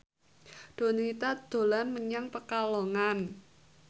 Donita dolan menyang Pekalongan